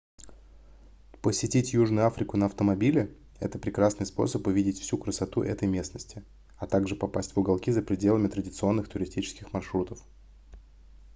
посетить южную африку на автомобиле это прекрасный способ увидеть всю красоту этой местности а также попасть в уголки за пределами традиционных туристических маршрутов